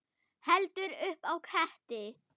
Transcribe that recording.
Heldur upp á ketti.